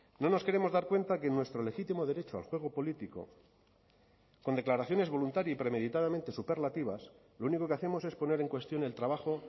no nos queremos dar cuenta que en nuestro legítimo derecho al juego político con declaraciones voluntaria y premeditadamente superlativas lo único que hacemos es poner en cuestión el trabajo